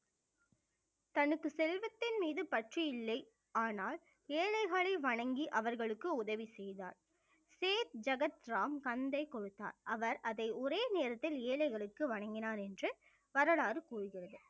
தனக்கு செல்வத்தின் மீது பற்று இல்லை ஆனால் ஏழைகளை வணங்கி அவர்களுக்கு உதவி செய்தார் சேக் ஜகத் ராம் அன்பை கொடுத்தார் அவர் அதை ஒரே நேரத்தில் ஏழைகளுக்கு வழங்கினார் என்று வரலாறு கூறுகிறது